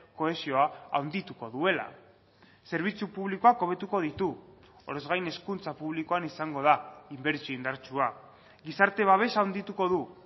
kohesioa handituko duela zerbitzu publikoak hobetuko ditu horrez gain hezkuntza publikoan izango da inbertsio indartsua gizarte babesa handituko du